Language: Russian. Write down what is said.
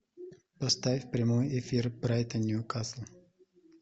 поставь прямой эфир брайтон ньюкасл